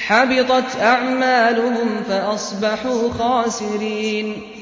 حَبِطَتْ أَعْمَالُهُمْ فَأَصْبَحُوا خَاسِرِينَ